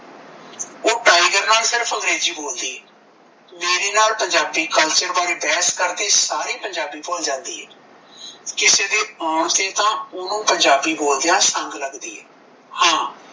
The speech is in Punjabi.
ਓਹ ਟਾਈਗਰ ਨਾਲ ਸਿਰਫ਼ ਅੰਗਰੇਜੀ ਬੋਲਦੀ ਏ ਮੇਰੇ ਨਾਲ ਪੰਜਾਬੀ culture ਬਾਰੇ ਬਹਿਸ ਕਰਕੇ ਸਾਰੀ ਪੰਜਾਬੀ ਭੁੱਲ ਜਾਂਦੀ ਏ ਕਿਸੇ ਦੇ ਆਉਣ ਤਾਂ ਓਹਨੂੰ ਪੰਜਾਬੀ ਬੋਲਦਿਆਂ ਸੰਗ ਲੱਗਦੀ ਏ ਹਾਂ